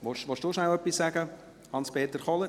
Hans-Peter Kohler, wollen Sie kurz etwas dazu sagen?